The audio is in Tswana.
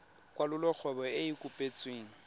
kwalolola kgwebo e e kopetsweng